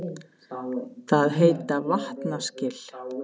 Það heita vatnaskil.